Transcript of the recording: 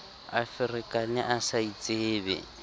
a ferekane a sa itsebe